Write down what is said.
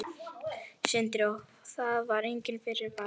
Sindri: Og það var enginn fyrirvari?